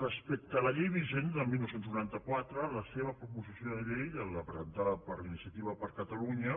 respecte a la llei vigent del dinou noranta quatre la seva proposició de llei la presentada per iniciativa per catalunya